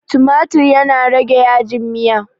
tumatir yana rage yajin Miya